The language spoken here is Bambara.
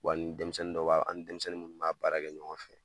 Wa ni denmisɛnnin dɔ b'a, an denmisɛnnin minnu b'a baara kɛ ɲɔgɔn fɛ.